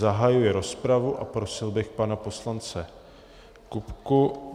Zahajuji rozpravu a prosil bych pana poslance Kupku.